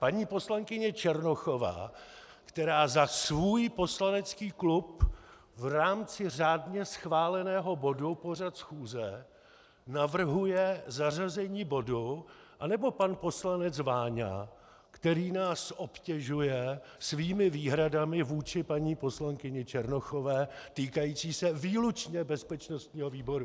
Paní poslankyně Černochová, která za svůj poslanecký klub v rámci řádně schváleného bodu pořad schůze navrhuje zařazení bodu, anebo pan poslanec Váňa, který nás obtěžuje svými výhradami vůči paní poslankyni Černochové týkajícími se výlučně bezpečnostního výboru.